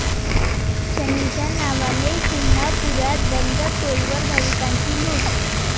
शनीच्या नावाने...', शिंगणापुरात बंद टोलवर भाविकांची लूट